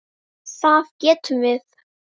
Það gátum við.